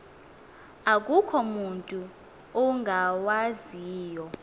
akukho mutu ungawaziyo